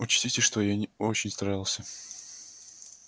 учтите что я не очень старался